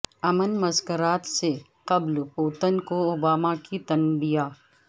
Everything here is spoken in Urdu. امن مذاکرات سے قبل پوتن کو اوباما کی تنبیہ